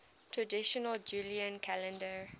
traditional julian calendar